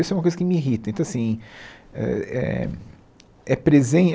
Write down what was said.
Isso é uma coisa que me irrita então assim eh eh é